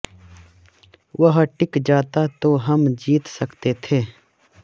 वह टिक जाता तो हम जीत सकते थे